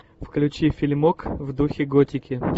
включи фильмок в духе готики